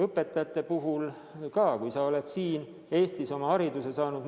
Õpetajate puhul on samuti, kui ollakse siin Eestis haridus saanud.